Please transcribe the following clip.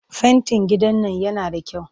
Fentin gidan nan yana da kyau